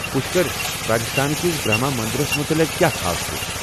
پُشکر، راجستھان کِس برہما مندرس مُتعلق کیٛاہ خاص چُھ؟